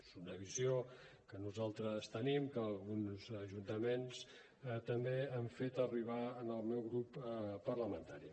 és una visió que nosaltres tenim que alguns ajuntaments també han fet arribar al meu grup parlamentari